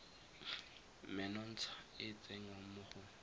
menontsha e tsengwang mo go